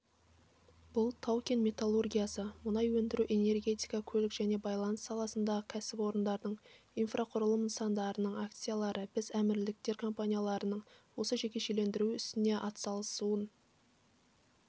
бұл тау-кен металлургиясы мұнай өндіру энергетика көлік және байланыс саласындағы кәсіпорындардың инфрақұрылым нысандарының акциялары біз әмірліктер компанияларының осы жекешелендіру ісіне атсалысуын